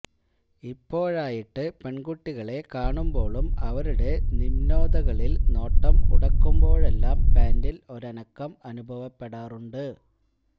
ഇപ്പോഴായിട്ട് പെൺകുട്ടികളെ കാണുമ്പോളും അവരുടെ നിമ്നോതകളിൽ നോട്ടം ഉടക്കുമ്പോഴെല്ലാം പാന്റിൽ ഒരനക്കം അനുഭവപ്പെടാറുണ്ട്